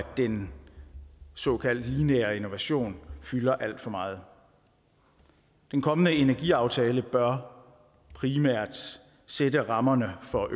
den såkaldt lineære innovation fylder alt for meget den kommende energiaftale bør primært sætte rammerne for